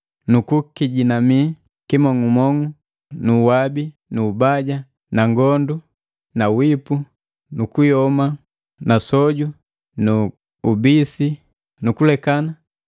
kukijinami kimong'umong'u nu uwabi nu ubaya nu ukomanu nu wipu nu kuyoma nu usoju nu kubisana nu kulekana,